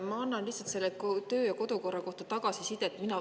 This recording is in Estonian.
Ma annan lihtsalt töö‑ ja kodukorra kohta tagasisidet.